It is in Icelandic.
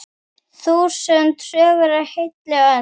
Þúsund sögur á heilli öld.